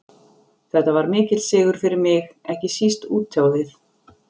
Þetta var mikill sigur fyrir mig, ekki síst út á við.